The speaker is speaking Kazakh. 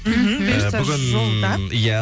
мхм бұйыртса жолда иә